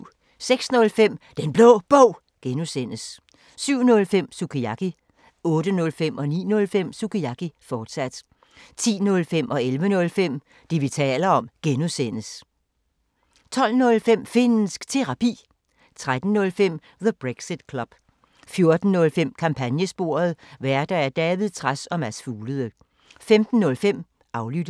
06:05: Den Blå Bog (G) 07:05: Sukiyaki 08:05: Sukiyaki, fortsat 09:05: Sukiyaki, fortsat 10:05: Det, vi taler om (G) 11:05: Det, vi taler om (G) 12:05: Finnsk Terapi 13:05: The Brexit Club 14:05: Kampagnesporet: Værter: David Trads og Mads Fuglede 15:05: Aflyttet